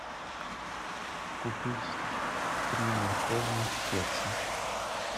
купить три морковных кекса